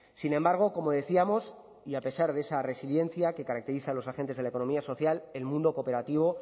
sin embargo como decíamos y a pesar de esa resiliencia que caracteriza a los agentes de la economía social el mundo cooperativo